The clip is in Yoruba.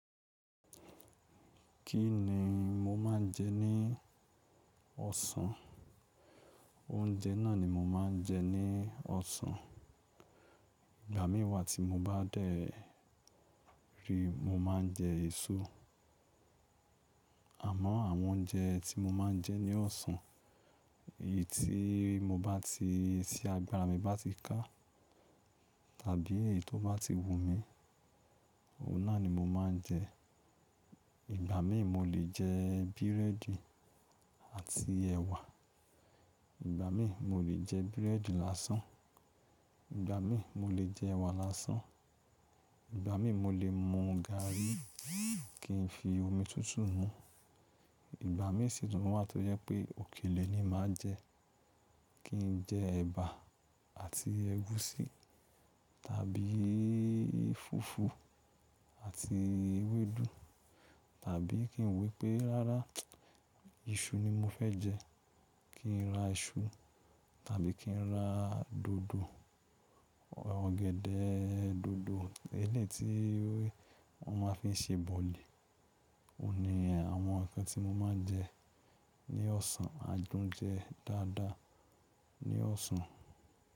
Kí ni mo máa ń jẹ ní ọ̀sán? Oúnjẹ náà ni mo máa ń jẹ ní ọ̀sán. Ìgbà míì wà tí mo bá dẹ̀ ri mo máa ń jẹ èso. Àmọ́ àwọn oúnjẹ tí mo máa ń jẹ ní ọ̀sán, èyí tí mo bá ti-- tí agbára mi bá ti ká tàbí èyí tó bá ti wù mí, òun náà ni mo máa ń jẹ. Ìgbà míì mo lè jẹ búrẹ́dì àti ẹ̀wà. Ìgbà míì mo lè jẹ búrẹ́dì lásán. Ìgbà míì mo lè jẹ ẹ̀wà lásán. Ìgbà míì mo lè mu gàrí kí n fi omi tútù mú ú. Ìgbà míì sì tún wà tó jẹ́ pé òkèlè ni màá jẹ, kí n jẹ ẹ̀bà àti ẹ̀gúsí tàbí fùfú àti ewédú tàbí kí n wo ípé rárá iṣu ni mo fẹ́ jẹ, kí n ra iṣu tàbí kí n ra dòdò, ọ̀gẹ̀dẹ̀-ẹ dòdò, eléyìí tí wọ́n ma fi ń ṣe bọ̀lì. Ó ní àwọn ǹkan tí mo ma ń jẹ ní ọ̀sán, adùn-ń jẹ dáadáa ní ọ̀sán.